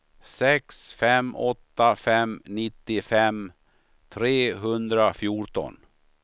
sex fem åtta fem nittiofem trehundrafjorton